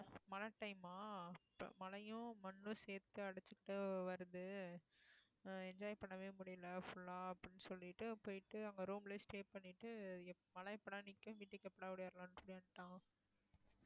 மழை time ஆ மழையும் மண்ணும் சேர்த்து அடைச்சுக்கிட்டு வருது அஹ் enjoy பண்ணவே முடியல full ஆ அப்படின்னு சொல்லிட்டு போயிட்டு அங்க room லயே stay பண்ணிட்டு மழை எப்~ எப்படா நிக்கும் வீட்டுக்கு எப்படா ஓடியாரலாம்ன்னு சொல்லி வந்துட்டோம்